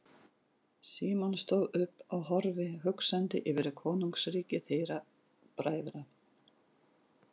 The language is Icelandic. Símon stóð upp og horfði hugsandi yfir konungsríki þeirra bræðra.